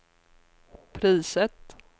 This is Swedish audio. priset